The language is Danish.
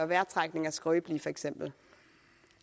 vejrtrækning er skrøbeligt for eksempel